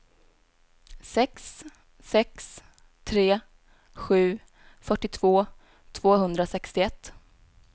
sex sex tre sju fyrtiotvå tvåhundrasextioett